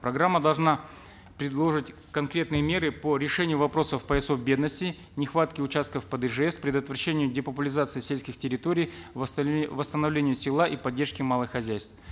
программа должна предложить конкретные меры по решению вопросов поясов бедности нехватки участков под ижс предотвращение депопулизации сельских территорий восстановление села и поддержки малых хозяйств